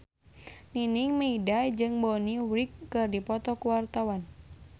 Nining Meida jeung Bonnie Wright keur dipoto ku wartawan